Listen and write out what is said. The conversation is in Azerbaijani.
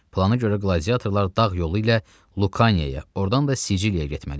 Plana görə qladiatorlar dağ yolu ilə Lukanaya, ordan da Siciliyaya getməliydilər.